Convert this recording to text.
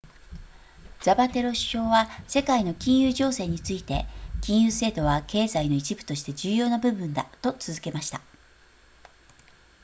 ザパテロ首相は世界の金融情勢について金融制度は経済の一部として重要な部分だと続けました